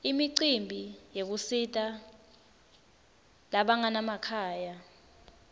imicimbi yekusita labanganamakhaya